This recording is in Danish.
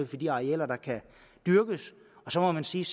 for de arealer der kan dyrkes og så må man sige